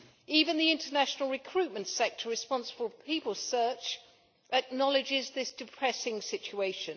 Even the international recruitment sector responsible for people search acknowledges this depressing situation.